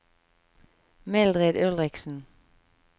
Mildrid Ulriksen